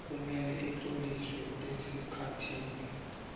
kumele utloliswe esikhathini